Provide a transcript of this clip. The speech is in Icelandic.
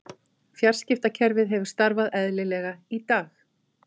Fjarskiptakerfið hefur starfað eðlilega í dag